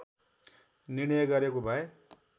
निर्णय गरेको भए